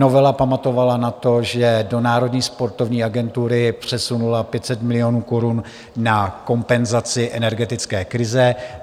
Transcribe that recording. Novela pamatovala na to, že do Národní sportovní agentury přesunula 500 milionů korun na kompenzaci energetické krize.